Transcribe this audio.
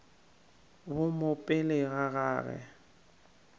bo mo pele ga gagwe